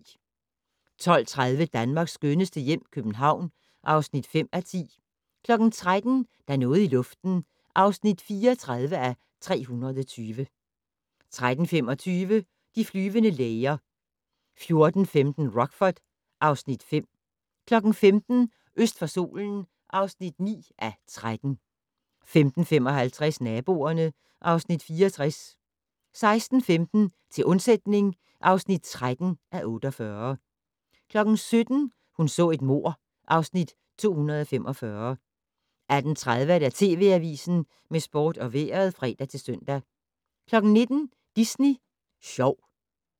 12:30: Danmarks skønneste hjem - København (5:10) 13:00: Der er noget i luften (34:320) 13:25: De flyvende læger 14:15: Rockford (Afs. 5) 15:00: Øst for solen (9:13) 15:55: Naboerne (Afs. 64) 16:15: Til undsætning (13:48) 17:00: Hun så et mord (Afs. 245) 18:30: TV Avisen med sport og vejret (fre-søn) 19:00: Disney Sjov